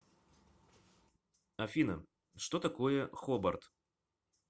афина что такое хобарт